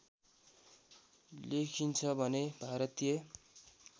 लेखिन्छ भने भारतीय